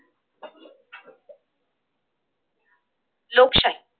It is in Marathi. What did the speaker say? लोकशाही